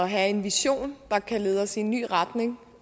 have en vision der kan lede os i en ny retning